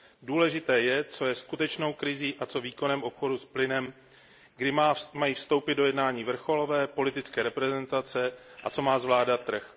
Důležité je, co je skutečnou krizí a co výkonem obchodu s plynem, kdy mají vstoupit do jednání vrcholové politické reprezentace, a co má zvládat trh.